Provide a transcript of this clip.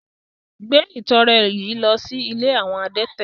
Gbé ìtọrẹ yìí lọ sí ilé àwọn adẹ́tẹ̀!